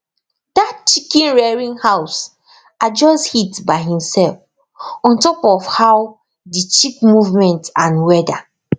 that chicken rearing house adjust heat by himself on top of how the chick movement and weather